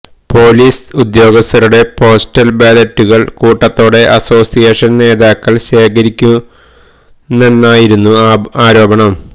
police ഉദ്യോഗസ്ഥരുടെ postal ബാലറ്റുകള് കൂട്ടത്തോടെ അസോസിയേഷന് നേതാക്കള് ശേഖരിക്കുന്നെന്നായിരുന്നു ആരോപണം